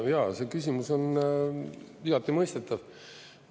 Jaa, see küsimus on igati mõistetav.